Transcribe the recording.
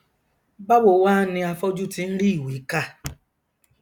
báwo wá ni afọjú ti nrí ìwé kà